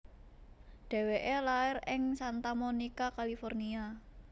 Dheweke lair ing Santa Monica California